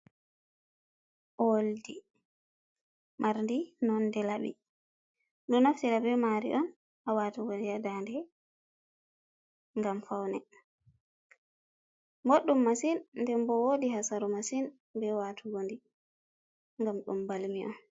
Owoldi marɗi nonde labi, ɗo naftira be mari on ha watugo di ha dande gam faune, ɓoɗɗum massin den bo wodi hasaru massin be watugo ndi gam ɗum balmi on.